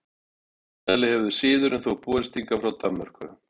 Sennilega hefur siðurinn þó borist hingað frá Danmörku.